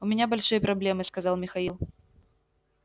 у меня большие проблемы сказал михаил